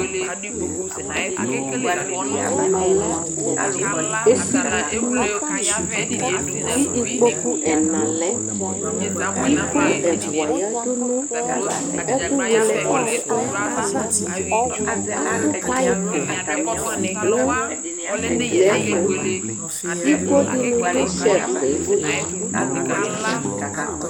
ɛmɛ lɛ esili dini ko ikpoku ɛna lɛ iko ɛfua yadu no ɛkò wele ɔku ava ato paip no ugliɛto iko dini do shelves ɛ li